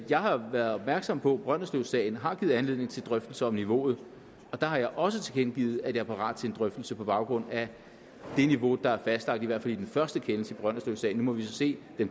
jeg har været opmærksom på at brønderslevsagen har givet anledning til drøftelser om niveauet og der har jeg også tilkendegivet at jeg er parat til en drøftelse på baggrund af det niveau der er fastlagt i hvert fald i den første kendelse i brønderslevsagen nu må vi så se hvad